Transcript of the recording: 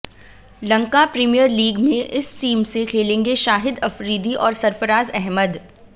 Lanka premier league में इस team से खेलेंगे शाहिद अफरीदी और सरफराज अहमद